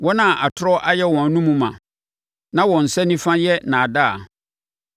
wɔn a atorɔ ayɛ wɔn anomu ma, na wɔn nsa nifa yɛ nnaadaa.